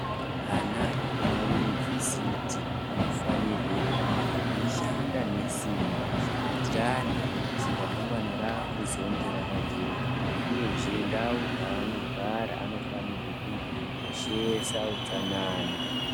Ana ekumayunivhesiti anofanirwe kunge eishanda nesimba kuitirani kuti ramangwana ravo rizonge rakajeka uyezve ndau dzavanogara vanofanire kunge veikoshesa utsanana.